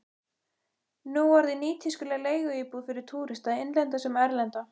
Nú orðinn nýtískuleg leiguíbúð fyrir túrista, innlenda sem erlenda.